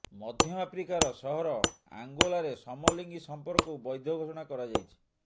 ମଧ୍ୟ ଆଫ୍ରିକାର ସହର ଅଙ୍ଗୋଲାରେ ସମଲିଙ୍ଗୀ ସଂପର୍କକୁ ବୈଧ ଘୋଷଣା କରାଯାଇଛି